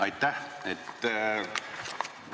Aitäh!